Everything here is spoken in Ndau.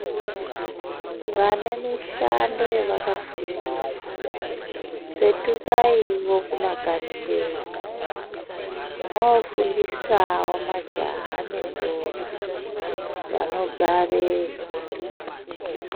Vane mishando yavakafundira, petukaiwo kumakanyi kwenyu, mwoofundisawo majaha nendombi vanogareyo.